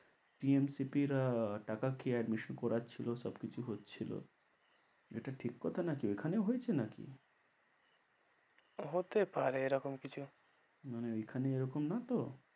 TMCP রা টাকা খেয়ে admission করাচ্ছিল সবকিছুই হচ্ছিল, এটা ঠিক কথা নাকি এখানেও হয়েছে নাকি? হতে পারে এরকম কিছু। মানে এইখানে এইরকম না তো?